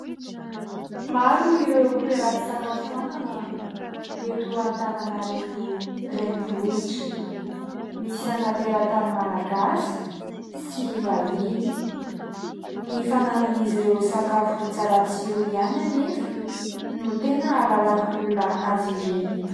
Maro ireo toeram-pisakafoanana eto Antananarivo renivohitra. Misy an'ny teratany Malagasy sy vahiny. Ny fananan'izy ireo sakafo tsara tsiro ihany anefa no tena ahalalan'ny olona azy ireny.